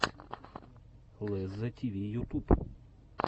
лезза тиви ютуб